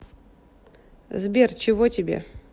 сбер чего тебе